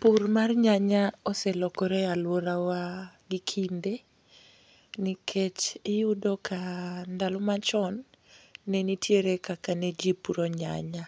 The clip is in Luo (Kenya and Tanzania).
Pur mar nyanya oselokore e alwora wa gikinde. Nikech iyudo ka ndalo machon ne nitiere kaka ne jipuro nyanya.